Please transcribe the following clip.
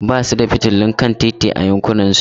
Ba su da fitilun kan titi a yankunansu.